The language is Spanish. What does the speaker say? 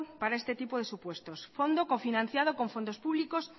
para este tipo de supuestos fondo cofinanciado con fondos públicos